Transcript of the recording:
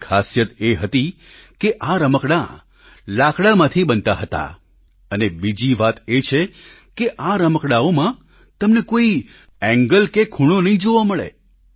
તેની ખાસિયત એ હતી કે આ રમકડાં લાકડાંમાંથી બનતા હતા અને બીજી વાત એ કે આ રમકડાંઓમાં તમને કોઈ એન્ગલ કે ખૂણો નહીં જોવા મળે